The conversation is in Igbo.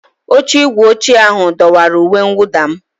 Oche igwe ochie ahụ dọwara uwe mwụda m.